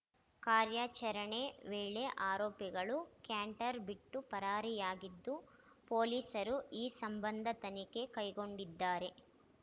ಕಾರ್ಯಾಚರಣೆ ವೇಳೆ ಆರೋಪಿಗಳು ಕ್ಯಾಂಟರ್‌ ಬಿಟ್ಟು ಪರಾರಿಯಾಗಿದ್ದು ಪೊಲೀಸರು ಈ ಸಂಬಂಧ ತನಿಖೆ ಕೈಗೊಂಡಿದ್ದಾರೆ